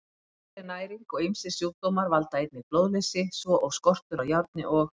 Léleg næring og ýmsir sjúkdómar valda einnig blóðleysi svo og skortur á járni og